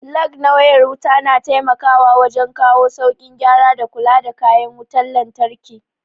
Lag na wayar wuta na taimakawa wajen kawo saukin gyara da kula da kayan wutan lantraki